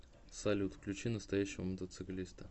салют включи настоящего мотоциклиста